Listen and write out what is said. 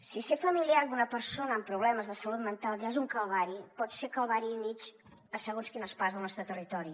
si ser familiar d’una persona amb problemes de salut mental ja és un calvari pot ser calvari i mig a segons quines parts del nostre territori